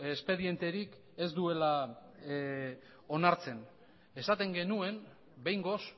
espedienterik ez duela onartzen esaten genuen behingoz